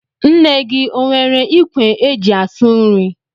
Nne gị o nwere ikwe é jị asụ nri?